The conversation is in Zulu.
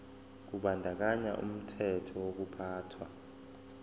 kubandakanya umthetho wokuphathwa